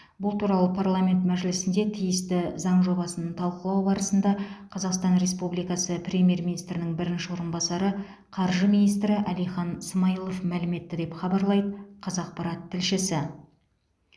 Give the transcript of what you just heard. бұл туралы парламент мәжілісінде тиісті заң жобасын талқылау барысында қазақстан республикасы премьер министрінің бірінші орынбасары қаржы министрі әлихан смайылов мәлім етті деп хабарлайды қазақпарат тілшісі